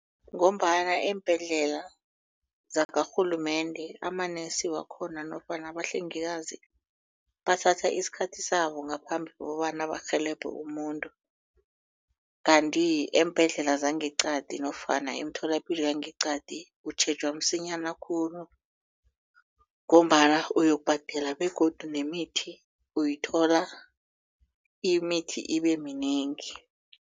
Ngombana eembhedlela zakarhulumende ama-nurse wakhona nofana abahlengikazi bathatha isikhathi sabo ngaphambi kobana barhelebhe umuntu kanti eembhedlela zangeeqadi nofana emitholapilo yangeqadi utjhejwa msinyana khulu ngombana uyokubhadela begodu nemithi uyithola imithi ibe minengi.